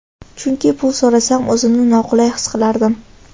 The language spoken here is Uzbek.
Chunki pul so‘rasam o‘zimni noqulay his qilardim.